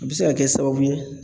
A bɛ se ka kɛ sababu ye